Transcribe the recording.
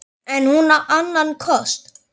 En á hún annan kost?